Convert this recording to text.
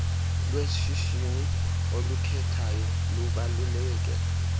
lwesihshini olukhethayo lubaluleke